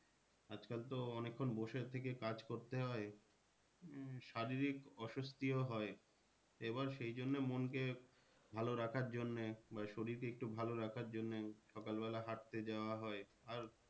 অনেক্ষন বসে থেকে কাজ করতে হয় আহ শারীরিক অসস্থিও হয় এবার সেই জন্য মন কে ভালো রাখার জন্যে বা শরীরকে একটু ভালো রাখার জন্যে সকাল বেলা হাঁটতে যাওয়া হয় আর